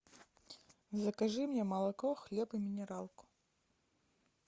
закажи мне молоко хлеб и минералку